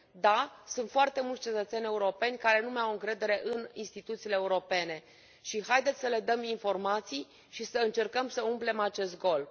Da, sunt foarte mulți cetățeni europeni care nu mai au încredere în instituțiile europene și haideți să le dăm informații și să încercăm să umplem acest gol.